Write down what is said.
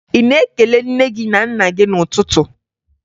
Ị na-ekele nne gị na nna gị n'ụtụtụ?